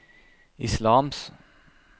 islams